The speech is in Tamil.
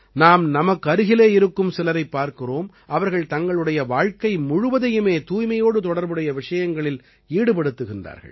நாம் நமக்கருகிலே இருக்கும் சிலரைப் பார்க்கிறோம் அவர்கள் தங்களுடைய வாழ்க்கை முழுவதையுமே தூய்மையோடு தொடர்புடைய விஷயங்களில் ஈடுபடுத்துகிறார்கள்